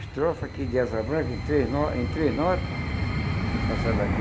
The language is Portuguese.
Estrofe aqui de asa branca em três no em três nota, que faço ela aqui,